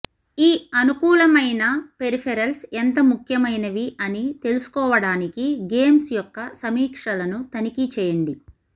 ఈ అనుకూలమైన పెరిఫెరల్స్ ఎంత ముఖ్యమైనవి అని తెలుసుకోవడానికి గేమ్స్ యొక్క సమీక్షలను తనిఖీ చేయండి